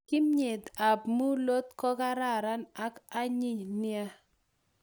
Kimyet ab mulot kokararan ak ayinyin nea